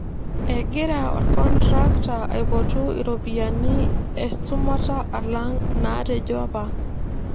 Egira orkontrakta aipotu iropiyiani esumata alang inaatejo apa.